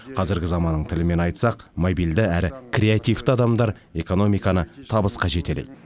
қазіргі заманның тілімен айтсақ мобильді әрі креативті адамдар экономиканы табысқа жетелейді